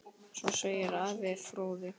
Svo segir Ari fróði.